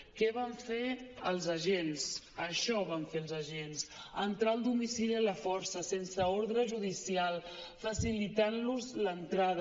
què van fer els agents això van fer els agents entrar al domicili a la força sense ordre judicial facilitant los l’entrada